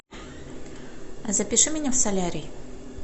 запиши меня в солярий